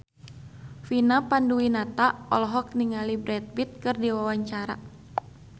Vina Panduwinata olohok ningali Brad Pitt keur diwawancara